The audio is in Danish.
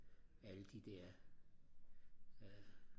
alle de der